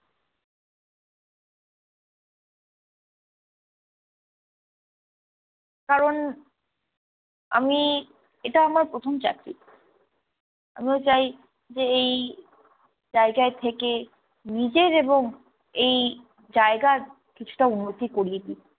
কারণ আমি, এটা আমার প্রথম চাকরি আমিও চাই যে এই জায়গায় থেকে নিজের এবং এই জায়গার কিছুটা উন্নতি করিয়ে দিই